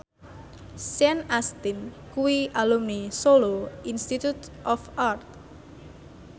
Sean Astin kuwi alumni Solo Institute of Art